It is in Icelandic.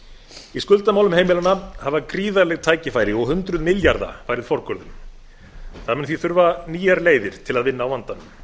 í skuldamálum heimilanna hafa gríðarleg tækifæri og hundruð milljarða farið forgörðum það mun því þurfa nýjar leiðir til að vinna á vandanum